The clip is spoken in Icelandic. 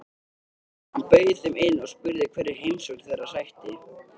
Hann bauð þeim inn og spurði hverju heimsókn þeirra sætti.